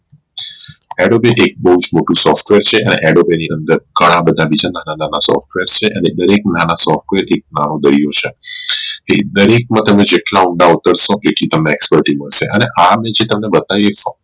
Advocate એક બોવ જ મોટું software છે અને Advocate ની અંદર ઘણા બધા બીજા ના ના software છે અને દરેક ના ના software એક નાનું છે એ ડાર્ક માં તમે જેટલા ઊંડા ઉતારશો આટલી Expertise મળશે અને આ જે મેં તમને બતાવી